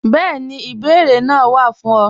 Bẹẹni, ìbèẹrè naa wá fún ọ.